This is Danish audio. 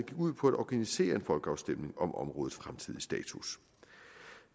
ud på at organisere en folkeafstemning om områdets fremtidige status